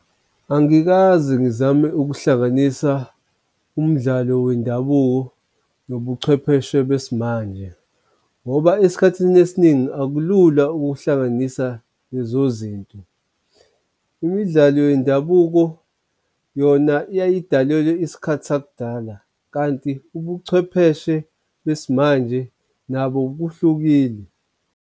Angikaze ngizame ukuhlanganisa umdlalo wendabuko nobuchwepheshe besimanje, ngoba esikhathini esiningi akulula ukuhlanganisa lezo zinto. Imidlalo yendabuko yona yayidalelwe isikhathi sakudala, kanti ubuchwepheshe besimanje nabo kuhlukile.